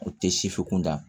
O tɛ sifu kun da